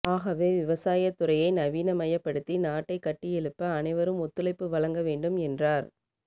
ஆகவே விவசாயத்துறையை நவீனமயப்படுத்தி நாட்டை கட்டியெழுப்ப அனைவரும் ஒத்துழைப்பு வழங்க வேண்டும் என்றார்